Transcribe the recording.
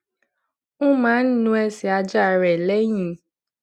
ó máa ń nu ẹsè ajá rè léyìn